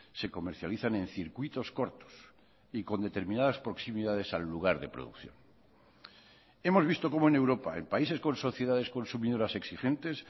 se comercializan en circuitos cortos y con determinadas proximidades al lugar de producción hemos visto cómo en europa en países con sociedades consumidoras exigentes